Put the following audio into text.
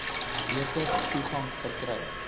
beter toegang verkry